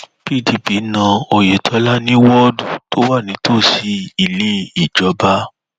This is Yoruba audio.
pdp na oyetola ní wọọdù tó wà nítòsí ilé ìjọba